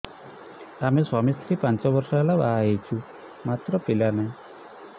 ଆମେ ସ୍ୱାମୀ ସ୍ତ୍ରୀ ପାଞ୍ଚ ବର୍ଷ ହେଲା ବାହା ହେଇଛୁ ମାତ୍ର ପିଲା ନାହିଁ